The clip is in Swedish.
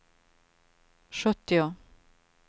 sjuttio